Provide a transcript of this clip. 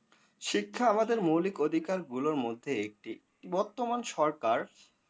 শিক্ষা আমাদের মৌলিক অধিকারগুলোর মধ্যে একটি। বর্তমান সরকার